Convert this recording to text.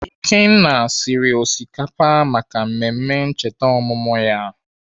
Okenna siri osikapa maka mmemme ncheta ọmụmụ ya.